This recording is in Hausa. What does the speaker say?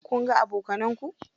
Kunga abokanan ku?